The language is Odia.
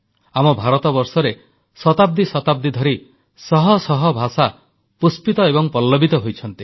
ଆମ ଭାରତବର୍ଷରେ ଶତାବ୍ଦୀ ଶତାବ୍ଦୀ ଧରି ଶହ ଶହ ଭାଷା ପୁଷ୍ପିତ ଏବଂ ପଲ୍ଲବିତ ହୋଇଛନ୍ତି